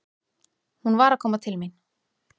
Hún var að koma til mín.